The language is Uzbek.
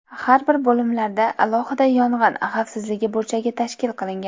Har bir bo‘limlarda alohida yong‘in xavfsizligi burchagi tashkil qilingan.